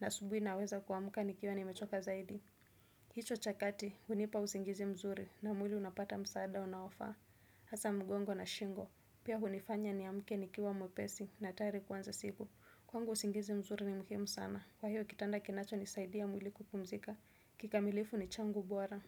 na asubuhi naweza kuamuka nikiwa nimechoka zaidi. Hicho cha kati, hunipa usingizi mzuri, na mwili unapata msaada unaofaa. Hasaa mgongo na shingo. Pia hunifanya niamuke nikiwa mwepesi, na tayari kuanza siku. Kwangu usingizi mzuri ni muhimu sana kwa hiyo kitanda kinachonisaidia mwili kupumzika kikamilifu ni changu bora.